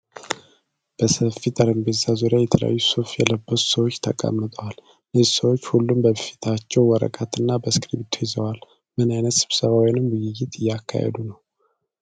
በሰፊ ጠረጴዛ ዙሪያ የተለያዩ ሱፍ የለበሱ ሰዎች ተቀምጠዋል። እነዚህ ሰዎች ሁሉም በፊታቸው ወረቀት እና እስክርቢቶ ይዘዋል። ምን አይነት ስብሰባ ወይም ዉይይት እየተካሄደ ነው?